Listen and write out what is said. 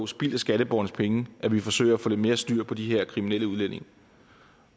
spild af skatteborgernes penge at vi forsøger at få lidt mere styr på de her kriminelle udlændinge